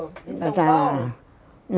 Em São Paulo?